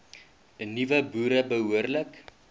nuwe boere behoorlik